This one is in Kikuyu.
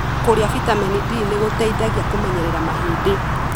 Kũria vitamin D nĩguteithagia kũmenyerera mahindi.